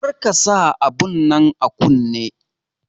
Kar ka sa abun nan a kunne!